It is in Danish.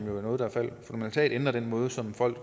noget som fundamentalt ændrer den måde som folk